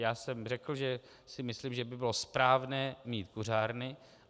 Já jsem řekl, že si myslím, že by bylo správné mít kuřárny.